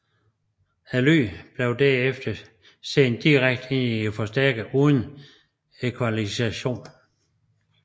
Lyden blev derfra sendt direkte ind i en forforstærker uden equalization